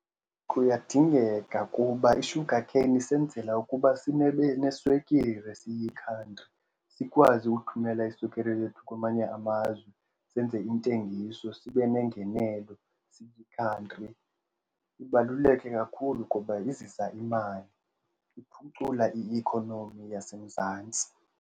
Kuyadingeka kuba i-sugar cane isenzela ukuba neswekire siyikhantri sikwazi ukuthumela iswekire yethu kwamanye amazwe, senze intengiso sibe nengenelo siyikhantri. Ibaluleke kakhulu kuba izisa imali, iphucula i-economy yaseMzantsi.